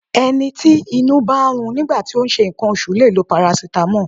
Ẹni tí inú bá ń run nígbà tí ó ń ṣe nǹkan oṣù lè lo parasitamọ́ọ̀.